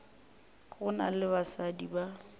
go na le basadi ba